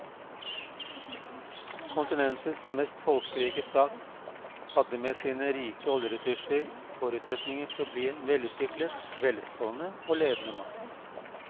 Kontinentets mest folkerike stat hadde med sine rike oljeressurser forutsetninger for å bli en velutviklet, velstående og ledende makt.